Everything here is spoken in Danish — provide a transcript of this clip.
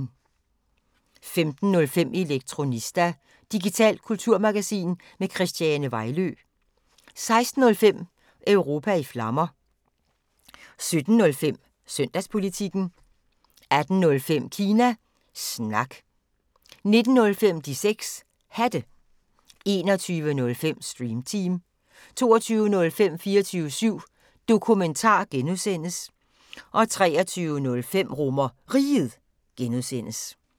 15:05: Elektronista – digitalt kulturmagasin med Christiane Vejlø 16:05: Europa i Flammer 17:05: Søndagspolitikken 18:05: Kina Snak 19:05: De 6 Hatte 21:05: Stream Team 22:05: 24syv Dokumentar (G) 23:05: RomerRiget (G)